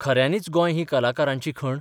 खऱ्यांनीच गोंय ही कलाकारांची खण?